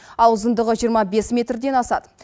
ал ұзындығы жиырма бес метрден асады